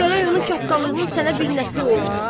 Gərək onun kattalığının sənə bir nəfi ola?